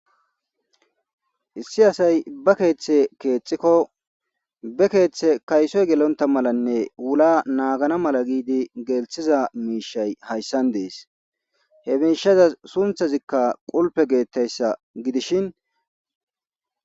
issi asay ba keeththe keexxikko be keeththe kaysoy gelonta malanne wula naagana mala giidi gelthiza miishay hayssan dees he miishaza sunthazikka qulpe geettayssa gidishin